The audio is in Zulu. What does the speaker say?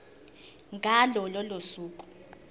ngalo lolo suku